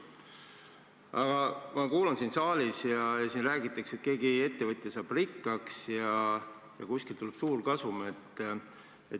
Aga ma kuulan siin saalis, kuidas räägitakse, et keegi ettevõtja saab rikkaks ja kuskilt tuleb suur kasum.